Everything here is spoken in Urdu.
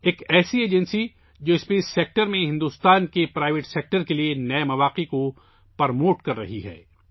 ایک ایجنسی جو خلائی شعبے میں ہندوستان کے نجی شعبے کے لیے نئے مواقع کو فروغ دے رہی ہے